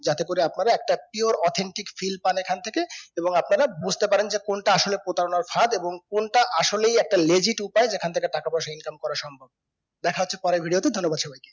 যাতে করে আপনারা একটা pure authentic feel পান এখন থেকেই এবং আপনারা বুজতে পারেন যে কোনটা আসলে প্রতারণার ফাঁদ এবং কোনটা আসলে একটা legit উপায় যেখান থেকে টাকাপয়সা income করা সম্ভব দেখা হচ্ছে পরের ভিডিও তে ধন্যবাদ সবাইকে